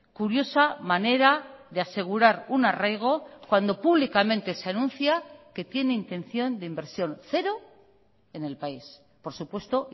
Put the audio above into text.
curiosa manera de asegurar un arraigo cuando públicamente se anuncia que tiene intención de inversión cero en el país por supuesto